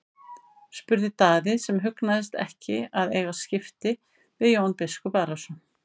spurði Daði sem hugnaðist ekki að eiga skipti við Jón biskup Arason.